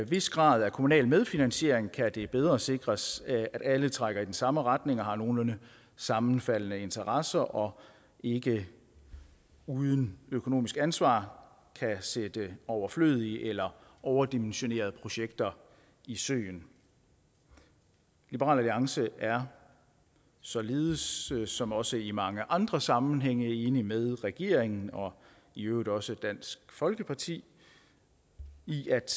vis grad af kommunal medfinansiering kan det bedre sikres at alle trækker i den samme retning og har nogenlunde sammenfaldende interesser og ikke uden økonomisk ansvar kan sætte overflødige eller overdimensionerede projekter i søen liberal alliance er således således som også i mange andre sammenhænge enig med regeringen og i øvrigt også dansk folkeparti i at